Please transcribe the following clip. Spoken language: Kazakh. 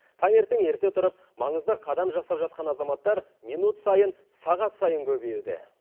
таңертең ерте тұрып маңызды қадам жасап жатқан азаматтар минут сайын сағат сайын көбеюде